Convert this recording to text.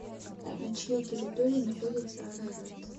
на чьей территории находится арарат